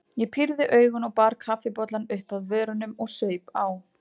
Ég pírði augun og bar kaffibollann upp að vörunum og saup á.